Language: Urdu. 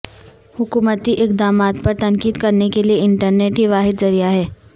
حکومتی اقدامات پر تنقید کرنے کے لیے انٹرنیٹ ہی واحد ذریعہ ہے